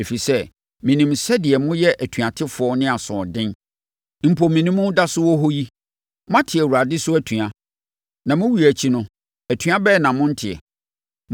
Ɛfiri sɛ, menim sɛdeɛ moyɛ atuatefoɔ ne asoɔden. Mpo, me ne mo da so wɔ hɔ yi, moate Awurade so atua. Na me wuo akyi no, atua bɛn na morente!